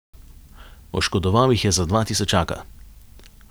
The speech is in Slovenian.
Oškodoval jih je za dva tisočaka.